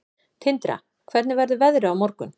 Tindra, hvernig verður veðrið á morgun?